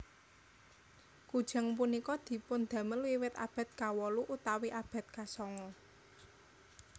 Kujang punika dipundamel wiwit abad kawolu utawi abad kasongo